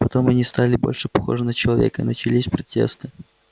потом они стали больше похожи на человека и начались протесты